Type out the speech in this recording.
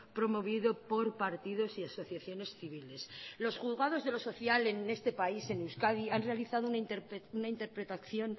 promovido por partidos y asociaciones civiles los juzgados de lo social en este país en euskadi han realizado una interpretación